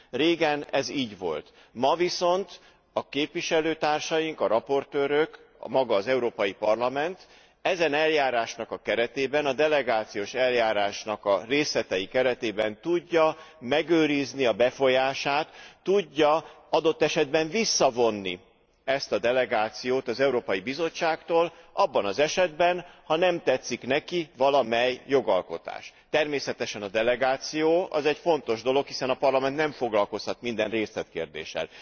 Régen ez így volt, ma viszont a képviselőtársaink, a raportőrök, maga az Európai Parlament, ezen eljárásnak a keretében, a delegációs eljárásnak a részletei keretében tudja megőrizni a befolyását, tudja adott esetben visszavonni ezt a delegációt az Európai Bizottságtól abban az esetben, ha nem tetszik neki valamelyik jogalkotás. Természetesen a delegáció az egy fontos dolog, hiszen a Parlament nem foglalkozhat minden részletkérdéssel.